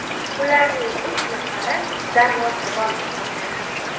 Ularning uch nafari darvozabon hisoblanadi.